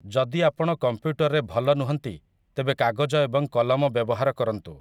ଯଦି ଆପଣ କମ୍ପ୍ୟୁଟରରେ ଭଲ ନୁହଁନ୍ତି ତେବେ କାଗଜ ଏବଂ କଲମ ବ୍ୟବହାର କରନ୍ତୁ ।